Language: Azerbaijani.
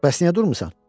Bəs niyə durmusan?